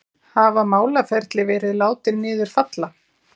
Hafa málaferli verið látin niður falla